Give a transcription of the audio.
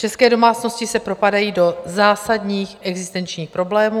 České domácnosti se propadají do zásadních existenčních problémů.